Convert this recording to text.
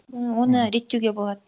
оны реттеуге болады